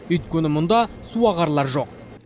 өйткені мұнда суағарлар жоқ